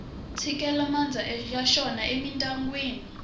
tshikele mandza ya xona emindyangwini